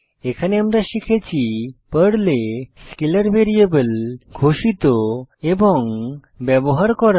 এখানে আমরা শিখেছি পার্ল এ স্কেলার ভ্যারিয়েবল ঘোষিত এবং ব্যবহার করা